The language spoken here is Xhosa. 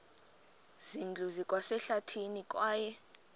zindlu zikwasehlathini kwaye